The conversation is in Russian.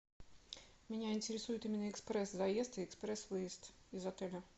меня интересует именно экспресс заезд и экспресс выезд из отеля